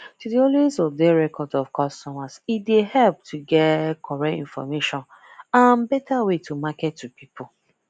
to dey always update record of customer e dey help get correct information and better way to market to people